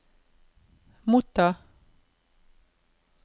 motta